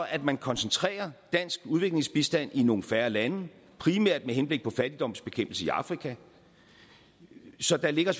at man koncentrerer dansk udviklingsbistand i nogle færre lande primært med henblik på fattigdomsbekæmpelse i afrika så der ligger